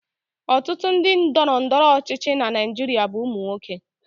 Ọtụtụ ndị ndọrọndọrọ ọchịchị na Naijiria bụ ụmụ nwoke.